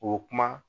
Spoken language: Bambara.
O kuma